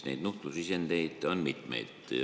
Nuhtlusisendeid on mitmeid.